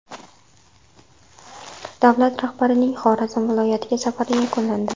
Davlat rahbarining Xorazm viloyatiga safari yakunlandi.